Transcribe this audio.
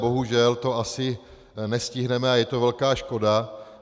Bohužel to asi nestihneme a je to velká škoda.